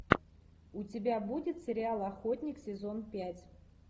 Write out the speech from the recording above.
у тебя будет сериал охотник сезон пять